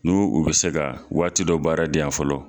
Nu u bɛ se ka waati dɔ baara di yan fɔlɔ.